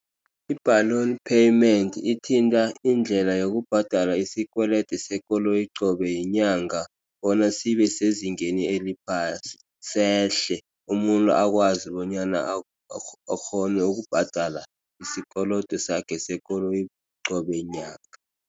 I-balloon payment ithinta indlela yokubhadala isikwelede sekoloyi qobe yinyanga bona sibe sezingeni eliphasi sehle. Umuntu akwazi bonyana akghone ukubhadala isikolodo sakhe sekoloyi qobe nyanga.